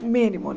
O mínimo, né?